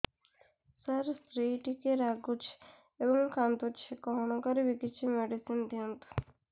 ସାର ସ୍ତ୍ରୀ ଟିକେ ରାଗୁଛି ଏବଂ କାନ୍ଦୁଛି କଣ କରିବି କିଛି ମେଡିସିନ ଦିଅନ୍ତୁ